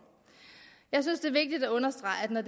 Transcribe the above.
jeg synes det er vigtigt at understrege at når